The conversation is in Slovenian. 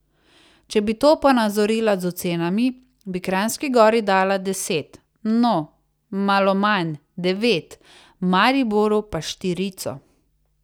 Če bi to ponazorila z ocenami, bi Kranjski Gori dala deset, no, malo manj, devet, Mariboru pa štirico.